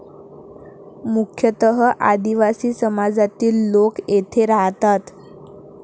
मुख्यतः आदिवासी समाजातील लोक येथे राहतात.